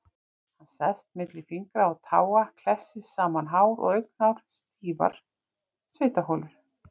Hann sest milli fingra og táa, klessir saman hár og augnhár, stíflar svitaholur.